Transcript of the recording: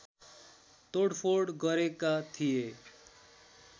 तोडफोड गरेका थिए